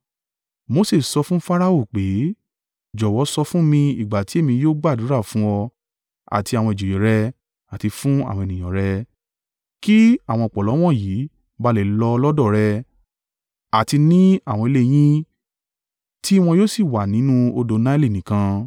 Mose sọ fún Farao pé, “Jọ̀wọ́ sọ fún mi ìgbà ti èmi yóò gbàdúrà fún ọ àti àwọn ìjòyè rẹ àti fún àwọn ènìyàn rẹ, kí àwọn ọ̀pọ̀lọ́ wọ̀nyí bá lè lọ lọ́dọ̀ rẹ àti ní àwọn ilé yín tí wọn yóò sì wà nínú odò Naili nìkan.”